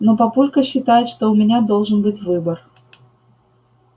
но папулька считает что у меня должен быть выбор